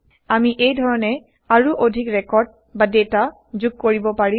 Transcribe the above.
আমি এই ধৰণে আৰু অধিক ৰেকৰ্ড বা ডেটা যোগ কৰিব পাৰিম